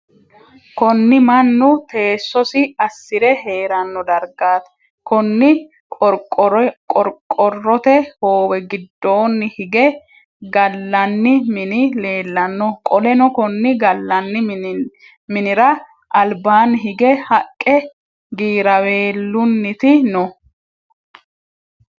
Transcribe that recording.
Konni mannu teesosi asire heerano dargaati. Konni qorqorote hoowe gidoonni hige galanni minni leelano. Qoleno konni galanni minnira albaanni hige haqe giraaweelunniti no.